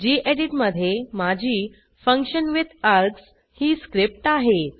गेडीत मधे माझी फंक्शनविथार्ग्स ही स्क्रिप्ट आहे